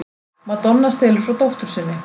Madonna stelur frá dóttur sinni